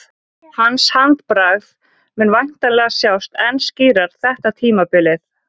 Hans handbragð mun væntanlega sjást enn skýrar þetta tímabilið.